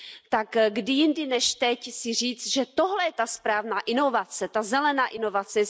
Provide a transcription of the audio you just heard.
tak kdy jindy než teď si říct, že tohle je ta správná inovace, ta zelená inovace.